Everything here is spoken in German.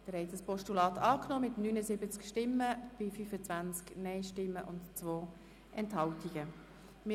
Sie haben dieses Postulat mit 79 Ja- gegen 25 Nein-Stimmen bei 2 Enthaltungen angenommen.